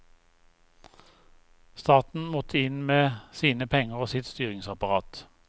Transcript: Staten måtte inn med sine penger og sitt styringsapparat.